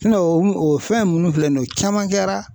o fɛn nunnu filɛ nin ye, o caman kɛla.